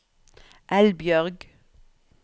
Elbjørg